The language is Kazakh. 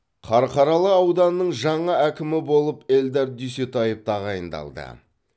қарқаралы ауданының жаңа әкімі болып эльдар дүйсетаев тағайындалды